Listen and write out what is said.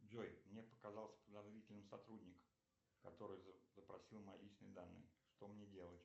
джой мне показался подозрительным сотрудник который запросил мои личные данные что мне делать